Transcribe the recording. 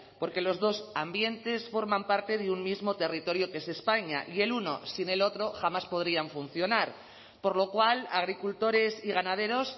porque los dos ambientes forman parte de un mismo territorio que es españa y el uno sin el otro jamás podrían funcionar por lo cual agricultores y ganaderos